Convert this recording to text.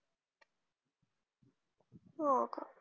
हाका